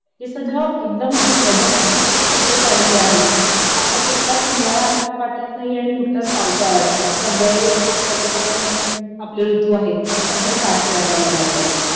हे सगळं एकदम असं वेदरमध्ये इतके चेंजेस आलेलं आहेत का आता कुठलाच हिवाळा आपल्याला वाटत नाही आणि कुठलाच पावसाळा वाटत नाही सगळे आपल्याला जे पण आपले ऋतू आहेत हे सगळे सारखे वाटायला लागलेले आहेत